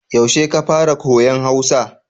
Yaushe ka fara koyon Hausa?